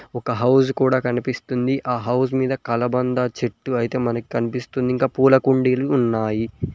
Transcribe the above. ఒక హౌస్ కూడా కనిపిస్తుంది ఆ హౌస్ మీద కలబంద చెట్టు అయితే మనకి కనిపిస్తుంది ఇంకా పూల కుండీలు ఉన్నాయి.